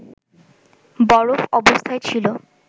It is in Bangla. বরফ অবস্থায় ছিল